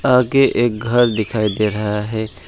आगे एक घर दिखाई दे रहा है।